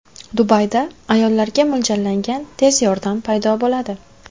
Dubayda ayollarga mo‘ljallangan tez yordam paydo bo‘ladi.